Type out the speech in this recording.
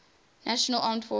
national armed forces